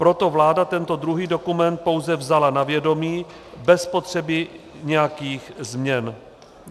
Proto vláda tento druhý dokument pouze vzala na vědomí bez potřeby nějakých změn.